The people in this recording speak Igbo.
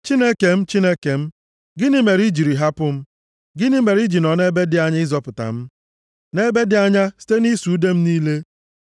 Chineke m, Chineke m, gịnị mere i jiri hapụ m? Gịnị mere i ji nọ ebe dị anya ịzọpụta m, nʼebe dị anya site nʼịsụ ude m niile?